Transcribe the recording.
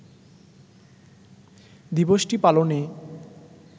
দিবসটি পালনে